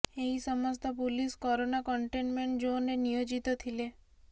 ଏହି ସମସ୍ତ police corona containment ଜୋନରେ ନିୟୋଜିତ ଥିଲେ